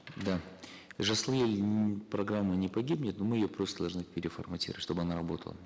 да жасыл ел м программа не погибнет но мы ее просто должны переформатировать чтобы она работала